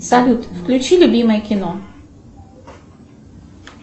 салют включи любимое кино